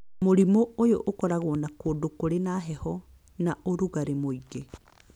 Mũrimũ ũyũ ũkoragwo na kũndũ kũrĩ na heho na ũrugarĩ mũingĩ